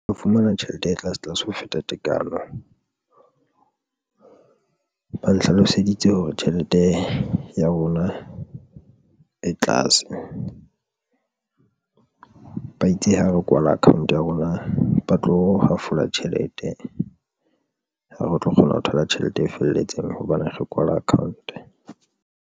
Ho fumana tjhelete e tlase tlase ho feta tekano, ba nhlaloseditse hore tjhelete ya rona e tlase. Ba itse ha re kwala account ya rona ba tlo hafola tjhelete, ha re tlo kgona ho thola tjhelete e felletseng hobane re kwala account.